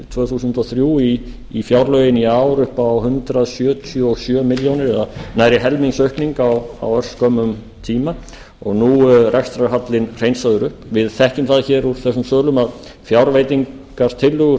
tvö þúsund og þrjú í fjárlögin í ár upp á hundrað sjötíu og sjö milljónir eða nærri helmingsaukning á örskömmum tíma og nú er rekstrarhallinn hreinsaður upp við þekkjum það hér úr þessum sölum að fjárveitingatillögur